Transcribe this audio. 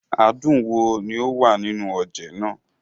Adùn wo ni ó wà nínú oje náà?